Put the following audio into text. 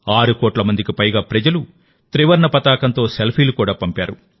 6 కోట్ల మందికి పైగా ప్రజలు త్రివర్ణ పతాకంతో సెల్ఫీలు కూడా పంపారు